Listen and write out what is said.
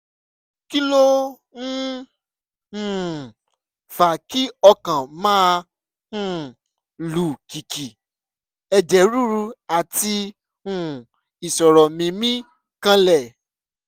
kí ló ń um fa kí ọkàn máa um lù kìkì ẹ̀jẹ̀ ríru àti um ìṣòro mímí kanlẹ̀?